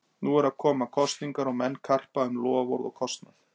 Nú eru að koma kosningar og menn karpa um loforð og kostnað.